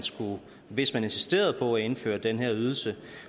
hvis man insisterede på at indføre den her ydelse